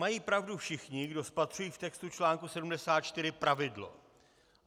Mají pravdu všichni, kdo spatřují v textu článku 74 pravidlo.